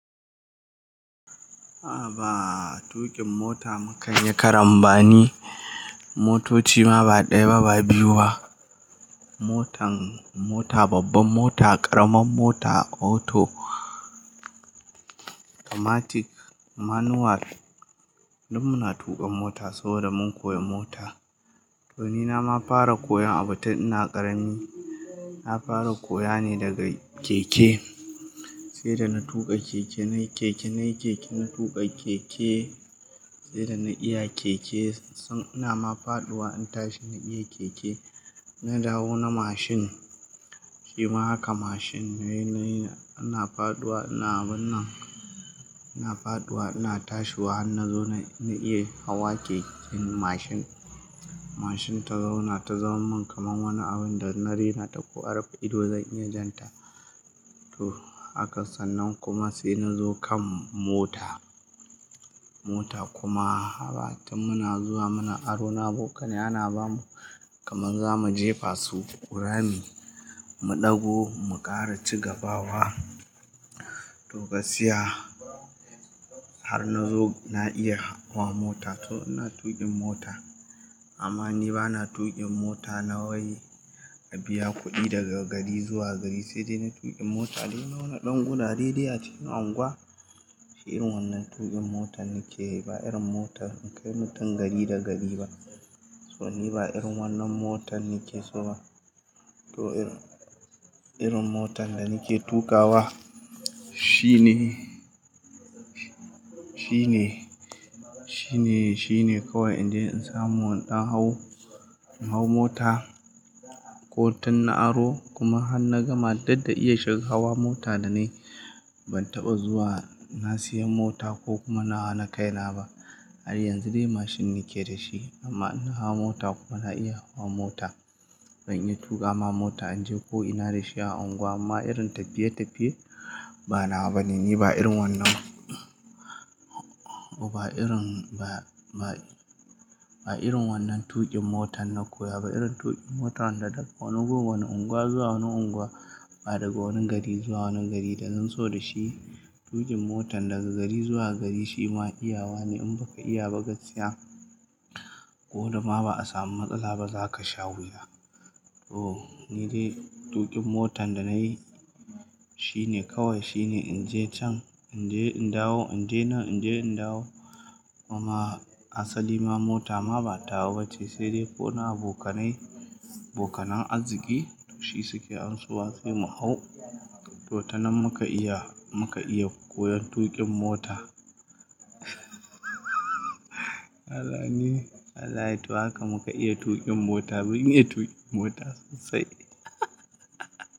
A ba, tuƙin mota mu kan yi karambani. Motoci ma ba ɗaya ba, ba biyu ba. Motan mota babbar mota ƙaramar mota auto automatic manual. Duk muna tuƙan mota saboda mun koya mota. To ni na ma fara koyon abun tun ina ƙarami. Na fara koya ne daga keke. Sai da na tuƙa keke, nayi keke, nayi keke, na tuƙa keke. Sai da na iya keke, sai ina ma faɗuwa in tashi in iya keke na dawo na mashin. Shima haka mashin nayi, nayi, ina faɗuwa, ina abun nan, ina faɗuwa, ina tashiwa, har na zo na iya hawa keken mashin. Mashin ta zauna, ta zama min kamar wani abun da na rena ta ko rife ido zan iya jan ta. To haka sannan kuma sai na zo kan mota. Mota kuma haba tin muna zuwa, muna aro na bokanai, ana bamu kaman za mu jefa su rami, mu ɗago, mu ƙara ci gaba wa. To gaskiya har na zo na iya hawa mota. To ina tuƙin mota amma ni ba na tuƙin mota na wai na biya kuɗi daga gari zuwa gari sai dai na tuƙin mota dai na wani ɗan gurare de acikin anguwa. Shi irin wannan tuƙin motar nake yi ba irin motar in kai mutum gari da gari ba. To ni ba irin wannan motar nake so ba. To irin motan da nake tuƙawa shine, shine, shine, shine kawai in je in samu wani ɗan hau in hau mota ko tin na aro kuma har na gama dadda iya shiga hawa mota da naye ban taɓa zuwa na siyan mota ko kuma nawa nawa na kai na ba. Har yanzu dai mashin nike da shi amma ina hawa mota kuma na iya hawa mota. Zan iya tuƙa ma mota in je ko ina da shi a unguwa amma irin tafiye tafiye ba nawa, bane ni ba irin wannan ba, ba irin, ba, ba irin wannan tuƙin motan na koya ba. Irin tuƙin motan da daga wani goggo wani unguwa zuwa wani unguwa ba daga wani gari zuwa wani gari da zan so da shi. Tuƙin motan daga gari zuwa gari shi ma iyawa ne in baka iya ba gaskiya ko da ma ba a samu matsala ba za ka sha wuya. To ni dai tuƙin motan da nayi shine kawai shine in je can, in je in dawo, in je nan, in je in dawo. Kuma asali ma mota ma ba ta hau ba ce sai dai fo na abokanai, abokanan arziki shi suke anso wa sai mu hau. To tana muka iya, muka iya koyon tuƙin mota. Allah ni, wallahhi to haka muka iya tuƙin mota ban iya tuƙin mota sosai.